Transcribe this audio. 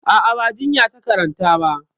A'a, ba jinya ta karanta ba.